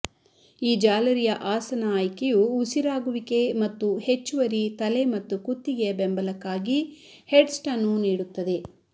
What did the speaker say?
ಈ ಜಾಲರಿಯ ಆಸನ ಆಯ್ಕೆಯು ಉಸಿರಾಗುವಿಕೆ ಮತ್ತು ಹೆಚ್ಚುವರಿ ತಲೆ ಮತ್ತು ಕುತ್ತಿಗೆಯ ಬೆಂಬಲಕ್ಕಾಗಿ ಹೆಡ್ಸ್ಟ್ ಅನ್ನು ನೀಡುತ್ತದೆ